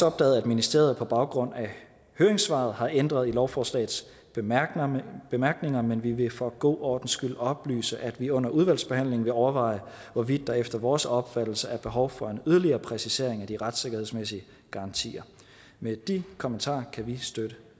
opdaget at ministeriet på baggrund af høringssvaret har ændret i lovforslagets bemærkninger bemærkninger men vi vil for god ordens skyld oplyse at vi under udvalgsbehandlingen vil overveje hvorvidt der efter vores opfattelse er behov for en yderligere præcisering af de retssikkerhedsmæssige garantier med de kommentarer kan vi støtte